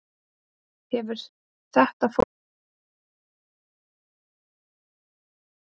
Hefur þetta fólk ekki komið á Leiknisvöll?